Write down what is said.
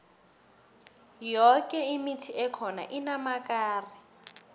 yoke imithi ekhona inamakari